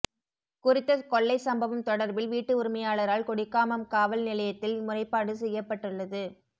குறித்த கொள்ளை சம்பவம் தொடர்பில் வீட்டு உரிமையாளரால் கொடிகாமம் காவல் நிலையத்தில் முறைப்பாடு செய்யப்பட்டுள்ளது